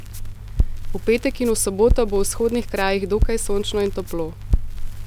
V petek in v soboto bo v vzhodnih krajih dokaj sončno in toplo.